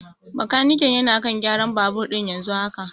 Bakaniken yana kan gyaran babur ɗin yanzu haka.